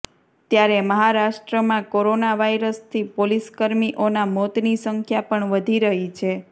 ત્યારે મહારાષ્ટ્રમાં કોરોના વાયરસથી પોલીસકર્મીઓના મોતની સંખ્યા પણ વધી રહી છે